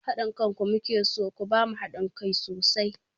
Haɗin kanku mu ke so, ku ba mu haɗin kai sosai!